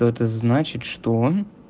то это значит что он